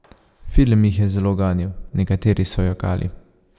Film jih je zelo ganil, nekateri so jokali.